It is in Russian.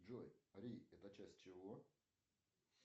джой ри это часть чего